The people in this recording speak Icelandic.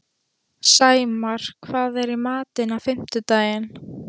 Sæmar, hvað er í matinn á fimmtudaginn?